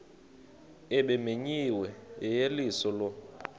ebimenyiwe yeyeliso lo